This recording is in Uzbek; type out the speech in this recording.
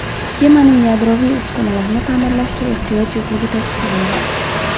Kemaning yadroviy uskunalarini ta’mirlashga ehtiyoj yo‘qligi ta’kidlandi.